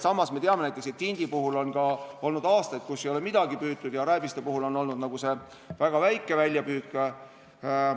Samas me teame näiteks, et tindi puhul on olnud ka aastaid, kui ei ole midagi püütud, ja rääbise puhul on olnud väljapüük väga väike.